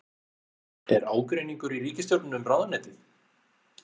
Er ágreiningur í ríkisstjórninni um ráðuneytið?